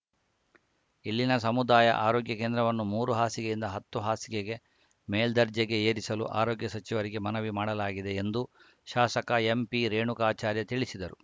ಇಲ್ಲಿನ ಸಮುದಾಯ ಆರೋಗ್ಯ ಕೇಂದ್ರವನ್ನು ಮೂರು ಹಾಸಿಗೆಯಿಂದ ಹತ್ತು ಹಾಸಿಗೆಗೆ ಮೇಲ್ದರ್ಜೆಗೆ ಏರಿಸಲು ಆರೋಗ್ಯ ಸಚಿವರಿಗೆ ಮನವಿ ಮಾಡಲಾಗಿದೆ ಎಂದು ಶಾಸಕ ಎಂಪಿರೇಣುಕಾಚಾರ್ಯ ತಿಳಿಸಿದರು